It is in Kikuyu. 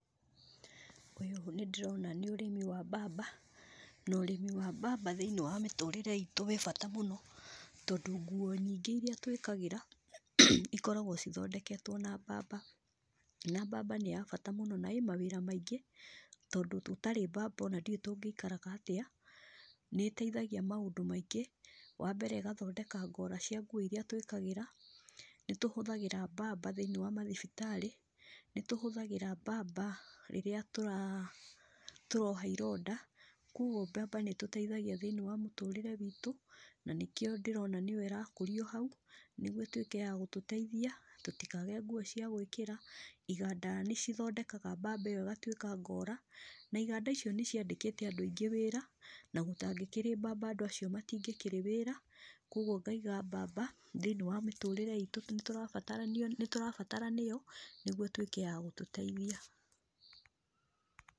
Ũyũ níndĩrona ní ũrĩmi wa mbamba, norĩmi wa mbamba thĩinĩ wa mĩtũrĩre itũ wĩ bata mũno tondũ nguo nyingĩ iria twĩkagĩra, ikoragwo cithondeketwo nambamba, na mbamba nĩya bata mũno na ĩ mawĩra maingĩ, tondũ tũtarĩ mbamba ona ndĩũĩ tũngĩikaraga atĩa, nĩteithagia maũndũ maingĩ, wambere ĩgathondeka ngora cia nguo iria twĩkagĩra, nĩtũhũthagĩra mbamba thĩ-inĩ wa mathibitarĩ, nĩtũhũthagĩra mbamba rĩrĩa tũra, tũroha ironda, koguo mbamba nĩtũteithagia thĩinĩ wa mũtũrĩre witũ, nanĩkĩo ndĩrona nĩyo ĩrakũrio hau, nĩguo ĩtwĩke ya gũtũteithia, tũtikage nguo cia gwĩkĩra, iganda nĩcithondekaga mbamba ĩyo ĩgatwĩka ngora, na iganda icio nĩciandĩkĩte andũ aingĩ wĩra, na gũtangĩkĩrĩ mbamba andũ acio matingĩrĩ wĩra, koguo ngaiga mbamba thĩinĩ wa mĩtũrĩre itũ nĩtũrabataranio nĩtũrabataranio nĩguo ĩtwĩke ya gũtũteithia.